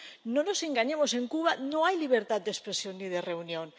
No nos engañemos en Cuba no hay libertad de expresión y de reunión.